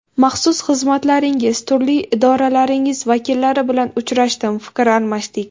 Maxsus xizmatlaringiz, turli idoralaringiz vakillari bilan uchrashdim, fikr almashdik.